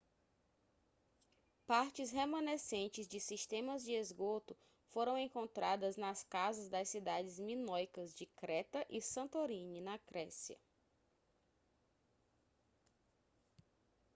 partes remanescentes de sistemas de esgoto foram encontradas nas casas das cidades minoicas de creta e santorini na grécia